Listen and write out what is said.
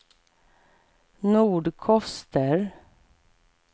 Nordkoster